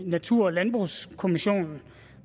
natur og landbrugskommissionen